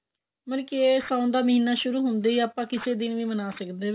ਮਤਲਬ ਕੇ ਸਾਉਣ ਦਾ ਮਹੀਨਾ ਸ਼ੁਰੂ ਹੁੰਦੇ ਹੀ ਆਪਾਂ ਕਿਸੇ ਦਿਨ ਵੀ ਮਨਾ ਸਕਦੇ ਹਾਂ